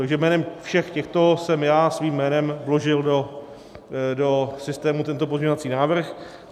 Takže jménem všech těchto jsem já svým jménem vložil do systému tento pozměňovací návrh.